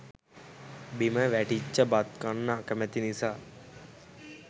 බිම වැටිච්ච බත් කන්න අකමැති නිසා